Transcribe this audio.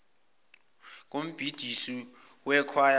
kombhidisi wekhwaya steady